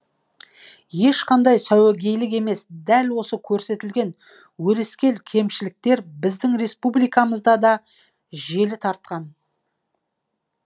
ешқандай сәуегейлік емес дәл осы көрсетілген өрескел кемшіліктер біздің республикамызда да желі тартқан